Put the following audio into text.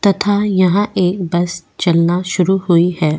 तथा यहां एक बस चलना शुरू हुई है.